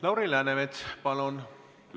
Lauri Läänemets, palun!